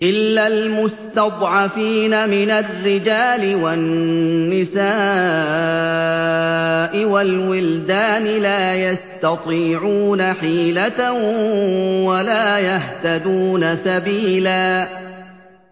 إِلَّا الْمُسْتَضْعَفِينَ مِنَ الرِّجَالِ وَالنِّسَاءِ وَالْوِلْدَانِ لَا يَسْتَطِيعُونَ حِيلَةً وَلَا يَهْتَدُونَ سَبِيلًا